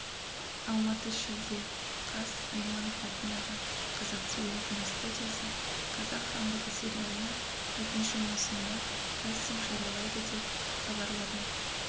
алматы шілде қаз айманов атындағы қазақфильм киностудиясы қазақ хандығы сериалының екінші маусымына кастинг жариялайды деп хабарлады